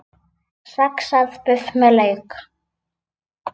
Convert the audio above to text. Saxað buff með lauk